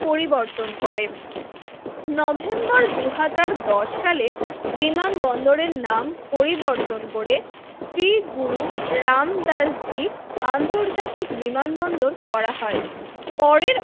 পরিবর্তন করেন নভেম্বর দুই হাজার দশ সালে বিমানবন্দরের নাম পরিবর্তন করে শ্রী গুরু রামদাস জি আন্তর্জাতিক বিমানবন্দর করা হয় পরের